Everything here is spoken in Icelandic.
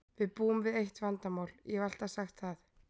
Við búum við eitt vandamál, ég hef alltaf sagt það.